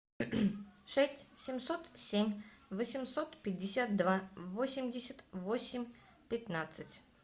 шесть семьсот семь восемьсот пятьдесят два восемьдесят восемь пятнадцать